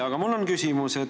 Aga mul on küsimus.